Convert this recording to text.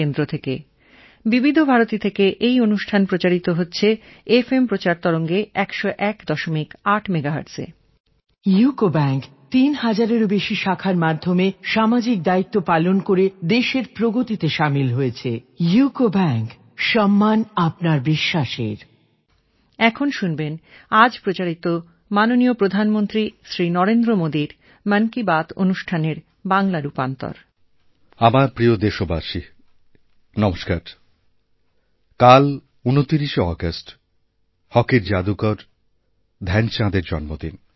কাল ২৯শেঅগাস্ট হকির জাদুকর ধ্যানচাঁদের জন্মদিন